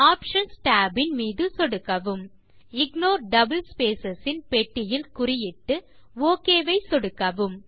options tab இன் மீது சொடுக்கவும் இக்னோர் டபிள் ஸ்பேஸ் இன் பெட்டியில் குறியிட்டு ஒக் ஐ சொடுக்கவும்